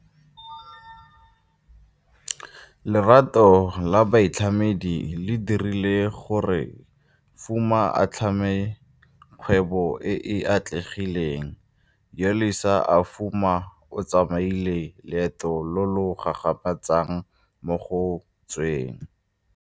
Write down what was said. Lerato la boitlhamedi le dirile gore Fuma a tlhame kgwebo e e atlegileng. Yolisa Fuma o tsamaile loeto lo lo gagamatsang mo go tsweng.